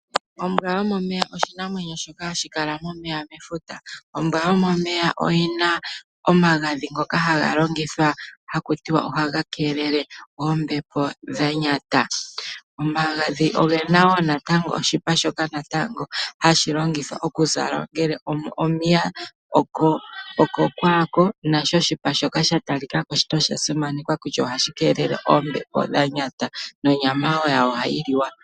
Ombwa yomomeya oshinamwenyo shoka hashi kala momeya mefuta. Ombwa yomomeya oyina omagadhi ngoka haga longithwa haku tiwa ohaga keelele oombepo dha nyata. Omagadhi ogena wo natango oshipa shoka natango hashi longithwa okuzalwa ngele omiya, okokwaako nasho oshipa shoka sha talika ko no sha simanekwa kutya ohashi keelele oombepo dha nyata. Nonyama wo yawo ohayi liwa.